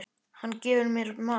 Hann gefur mér mat.